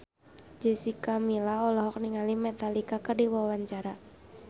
Jessica Milla olohok ningali Metallica keur diwawancara